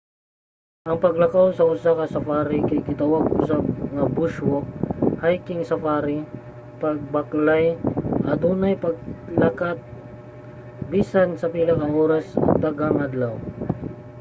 ang paglakaw sa usa ka safari kay gitawag usab nga bush walk hiking safari o pagbaklay adunay paglakat bisan sa pila ka oras o daghang adlaw